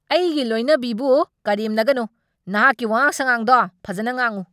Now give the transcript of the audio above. ꯑꯩꯒꯤ ꯂꯣꯏꯅꯕꯤꯕꯨ ꯀꯔꯦꯝꯅꯒꯅꯨ! ꯅꯍꯥꯛꯀꯤ ꯋꯥꯉꯥꯡ ꯁꯥꯉꯥꯡꯗꯣ ꯐꯖꯅ ꯉꯥꯡꯉꯨ!